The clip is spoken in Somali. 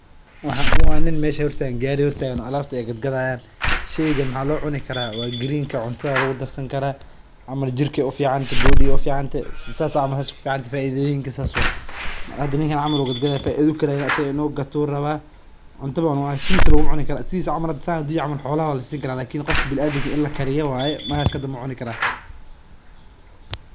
Waxan waa nin meel gaari hor taagan waa lagadi haaya faida ayuu kaheli waa in lakariyo.